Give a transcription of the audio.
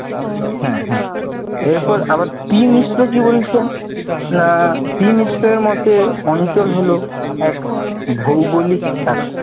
হ্যাঁ হ্যাঁ, এরপর আবার টি মিশ্র কি বলেছেন? না টি মিশ্র এর মতে অঞ্চল হল এক ভৌগলিক